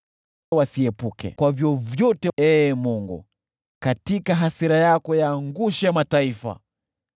Wasiepuke kwa vyovyote, Ee Mungu, katika hasira yako yaangushe mataifa.